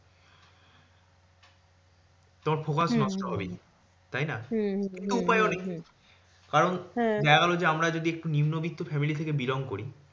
তোমার focus নষ্ট হবেই, তাইনা? হ্যাঁ দেখা গেলো যে, আমরা যদি একটু নিম্নবিত্ত family থেকে belong করি,